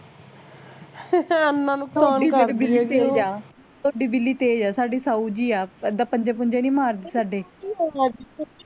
ਤੁਹਾਡੀ ਬਿੱਲੀ ਤੇਜ਼ ਆ ਸਾਡੀ ਸਾਊ ਜੀ ਆ ਏਦਾਂ ਪੰਜੇ ਪੁੰਜੇ ਨੀ ਮਾਰਦੀ ਸਾਡੇ